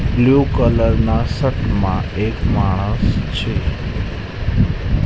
Blue colour ના shirt મા એક માણસ છે.